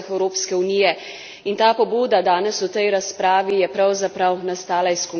In ta pobuda danes v tej razpravi je pravzaprav nastala iz konkretnega primera.